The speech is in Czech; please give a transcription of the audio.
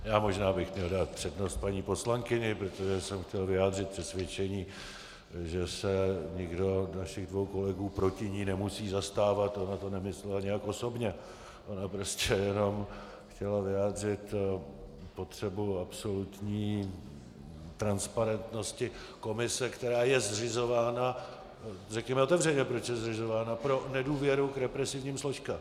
Já možná bych měl dát přednost paní poslankyni, protože jsem chtěl vyjádřit přesvědčení, že se nikdo našich dvou kolegů proti ní nemusí zastávat, ona to nemyslela nijak osobně, ona prostě jenom chtěla vyjádřit potřebu absolutní transparentnosti komise, která je zřizována - řekněme otevřeně, proč je zřizována - pro nedůvěru k represivním složkám.